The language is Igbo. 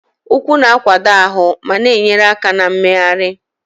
Ụkwụ na-akwado ahụ ma na-enyere aka na mmegharị.